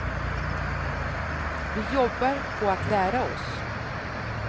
Vi jobbar på att lära oss.